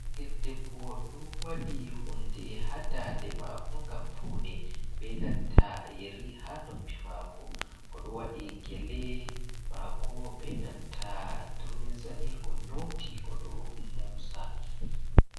Ɓingel debbo" ɗon waɗi hunde ha dande mako ngam pawne. Benanta yeri ha noppi mako. Oɗo waɗi gele mako benanta turmi zani onyoti oɗo mosa.